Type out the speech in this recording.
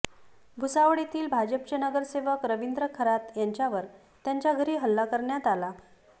भुसावळ येथील भाजपचे नगरसेवक रवींद्र खरात यांच्यावर त्यांच्या घरी हल्ला करण्यात आला